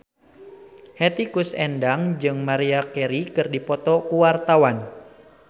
Hetty Koes Endang jeung Maria Carey keur dipoto ku wartawan